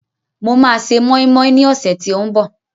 Mo máa se mọ́ínmọ́ín ní ọ̀sẹ̀ tí ó ń bọ̀